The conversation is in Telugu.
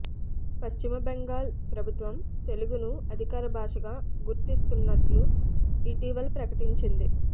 పశ్చిమ బెంగాల్ ప్రభుత్వం తెలుగును అధికార భాషగా గుర్తిస్తున్నట్లు ఇటీవల ప్రకటించింది